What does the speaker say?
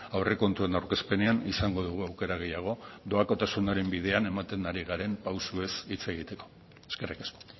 aurrekontuen aurkezpenean izango dugu aukera gehiago doakotasunaren bidean ematen ari garen pausuez hitz egiteko eskerrik asko